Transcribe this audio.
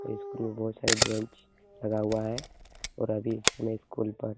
school में बोहोत सारे ब्रेंच लगा हुआ है और अभी हमें स्कूल पर --